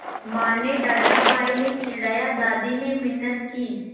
माँ ने डाँटा भाई ने चिढ़ाया दादी ने मिन्नत की